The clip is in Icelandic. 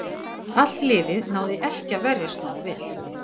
Allt liðið náði ekki að verjast nógu vel.